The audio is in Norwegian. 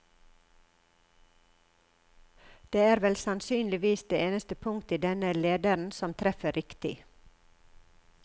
Det er vel sannsynligvis det eneste punkt i denne lederen som treffer riktig.